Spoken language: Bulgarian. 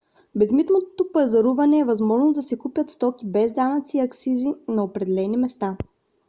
безмитното пазаруване е възможност да се купят стоки без данъци и акцизи на определени места